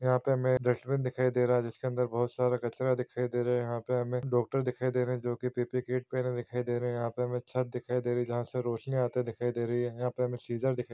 यहाँ पे हमे डस्टबिन दिखाई दे रहा है जिसके अंदर बहोत सारा कचरा दिखाई दे रहा है यहाँ पे हमे डॉक्टर दिखाई दे रहे है जो की पी_पी किट पहने दिखाई दे रहे है यहाँ पे हमे छत दिखाई दे रही है जहाँ से रोशनी आते दिखाई दे रही है यहाँ पे हमे सीजर दिखाई--